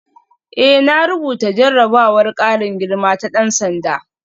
Eh na rubuta jarrabawar karin girma ta dan sanda